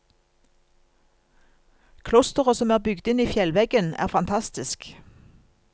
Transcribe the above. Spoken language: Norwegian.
Klosteret som er bygd inn i fjellveggen er fantastisk.